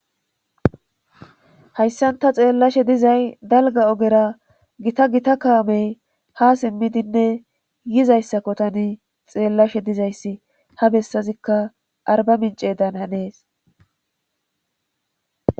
hayssan ta xeellashe dizay dalga ogera gita gita kaamey ha simmidinne yizayssakko tani xeellashe dizayssi ha bessazikka arba mince dan hanees